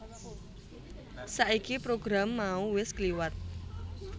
Saiki program mau wis kliwat